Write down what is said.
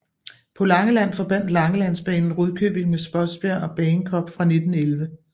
På Langeland forbandt Langelandsbanen Rudkøbing med Spodsbjerg og Bagenkop fra 1911